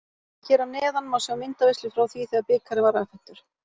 Hér að neðan má sjá myndaveislu frá því þegar bikarinn var afhentur.